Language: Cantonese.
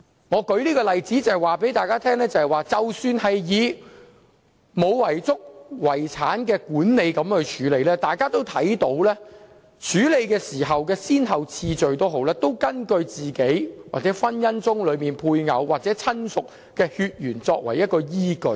我舉這個例子，就是要告訴大家，在沒有遺囑的遺產管理中，大家也可見處理的先後次序，是以死者本人或婚姻中的配偶或親屬的血緣關係作為依據。